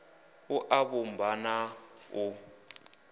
a u vhumba na u